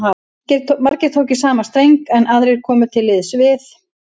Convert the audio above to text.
Margir tóku í sama streng, en aðrir komu til liðs við